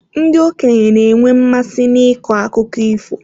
Ndị okenye na-enwe mmasị n'ịkọ akụkọ ifo.